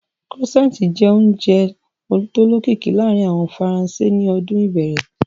Croissant jẹ́ oúnjẹ tó lókìkí láàárín àwọn Faransé ní ọdún ìbẹ̀rẹ̀